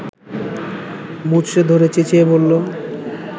মুচড়ে ধরে চেঁচিয়ে বলল